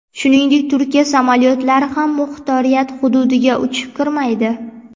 Shuningdek, Turkiya samolyotlari ham muxtoriyat hududiga uchib kirmaydi.